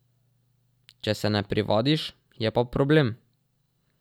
Če se ne privadiš, je pa problem.